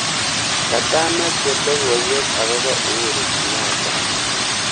Katamache logoiwek akobo Uhuru Kenyatta.